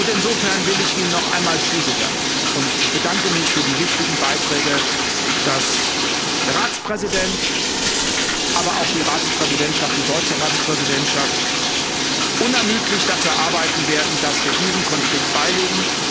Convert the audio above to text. Insofern will ich Ihnen noch einmal zusichern und ich bedanke mich für die wichtigen Beiträge dass der Ratspräsident, aber auch die Ratspräsidentschaft, die deutsche Ratspräsidentschaft, unermüdlich dafür arbeiten werden, dass wir diesen Konflikt beilegen.